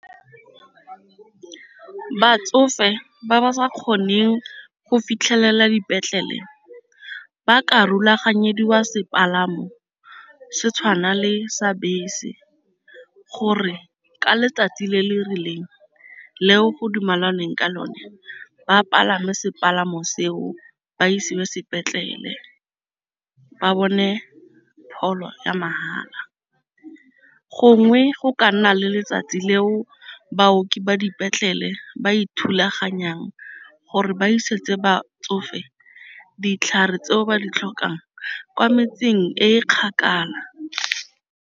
Batsofe ba ba sa kgoneng go fitlhelela dipetlele ba ka rulaganya fediwa sepalamo se tshwana le sa bese, gore ka letsatsi le le rileng le go dumalaneng ka lone ba palame sepalamo seo ba isiwa sepetlele ba bone pholo ya mahala. Gongwe go ka nna le letsatsi leo baoki ba dipetlele ba ithulaganya jang gore ba isetse ba tsofe ditlhare tseo ba di tlhokang kwa metsing e kgakala.